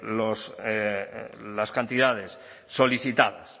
las cantidades solicitadas